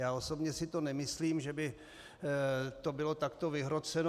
Já osobně si to nemyslím, že by to bylo takto vyhroceno.